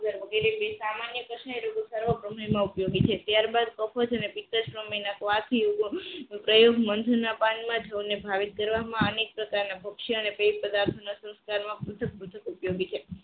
વગેરે બિન સામાન્ય પ્રશ્ન સમયમાં ઉપયોગી છે ત્યારબાદ સમયના વાદયુગો માનધના જ પાનમાં જ અમને ભાવે અનેક પ્રકારના વક્ષ્ય અને પેટ તથા અન્ય સંસ્કારમાં ઉપયોગી છે